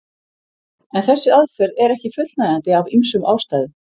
En þessi aðferð er ekki fullnægjandi af ýmsum ástæðum.